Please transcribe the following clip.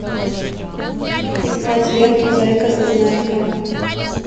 искать ленту зайка зазнайка